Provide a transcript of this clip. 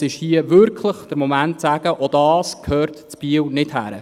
Es ist jetzt wirklich der Moment, um zu sagen, dies gehöre nicht nach Biel.